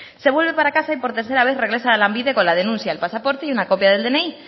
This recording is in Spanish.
se vuelve para casa y por tercera vez regresa a lanbide con la denuncia el pasaporte y una copia del dni